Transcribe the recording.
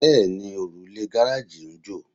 Bẹ́ẹ̀ni, òrùlé gáráàjì ń jò